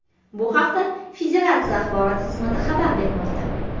Bu haqda federatsiya axborot xizmati xabar bermoqda.